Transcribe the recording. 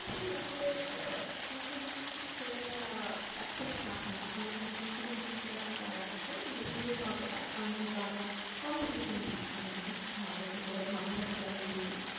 কি আসলে আহ এখন internship খুঁজাটা খুব tough না। অনেক company তেই internship এখন করাই থাকে কিন্তু সুযোগ পাওয়াটা tough কারণ যেহেতু আমরা competition বেশি মানে আমাদের দেশে তো ঘনবসতি অনেক বেশি